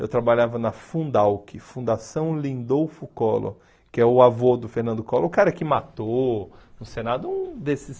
Eu trabalhava na Fundalc, Fundação Lindolfo Collor, que é o avô do Fernando Collor, o cara que matou no Senado um desses...